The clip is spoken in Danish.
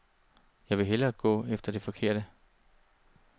Jeg vil hellere gå efter det forkerte.